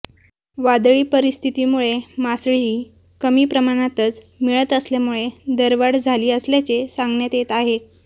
वादळी परिस्थितीमुळे मासळीही कमी प्रमाणातच मिळत असल्यामुळे दरवाढ झाली असल्याचे सांगण्यात येत आहे